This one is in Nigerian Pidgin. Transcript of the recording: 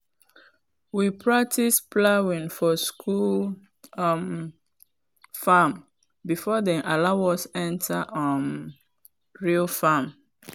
we practice plowing for school um farm before dem allow us enter um real farm.